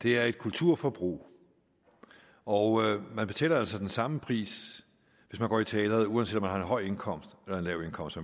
det er et kulturforbrug og man betaler altså den samme pris hvis man går i teatret uanset om man har en høj indkomst eller en lav indkomst